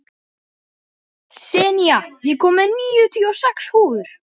Senía, ég kom með níutíu og sex húfur!